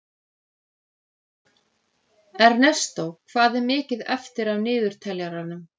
Ernestó, hvað er mikið eftir af niðurteljaranum?